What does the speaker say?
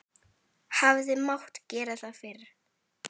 Hefði mátt gera það fyrr?